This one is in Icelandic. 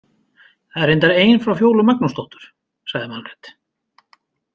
Það er reyndar ein frá Fjólu Magnúsdóttur, sagði Margrét.